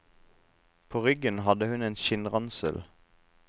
På ryggen hadde hun en skinnransel.